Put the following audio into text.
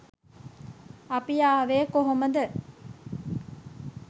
අපි ආවේ කොහොමද?